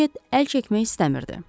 Retchett əl çəkmək istəmirdi.